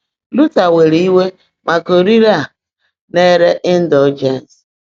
Luther were iwe maka orire a na-ere ịndọljens.